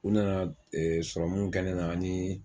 U nana serɔmu kɛ ne na ani